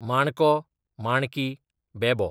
माणको, माणकी, बेबो